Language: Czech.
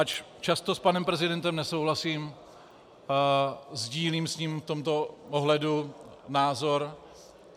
Ač často s panem prezidentem nesouhlasím, sdílím s ním v tomto ohledu názor.